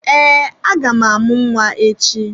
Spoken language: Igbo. Ee, aga m amụ nwa echi.